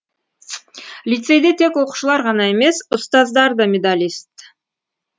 лицейде тек оқушылар ғана емес ұстаздар да медалист